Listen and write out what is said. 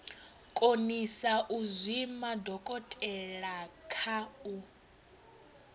konisa u zwima dokotelakha ku